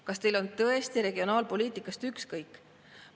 Kas teil on tõesti regionaalpoliitikast ükskõik?